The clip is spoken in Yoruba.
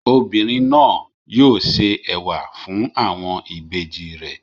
Obìnrin náà yóò se ẹ̀wà fún àwọn ìbejì rẹ̀.